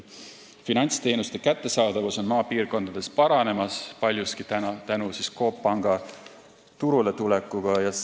Finantsteenuste kättesaadavus on maapiirkondades paranemas, paljuski tänu Coop Panga turuletulekule.